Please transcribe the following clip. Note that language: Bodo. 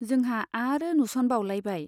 जोंहा आरो नुस'नबावलायबाय।